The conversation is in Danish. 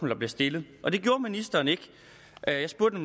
der bliver stillet og det gjorde ministeren ikke jeg spurgte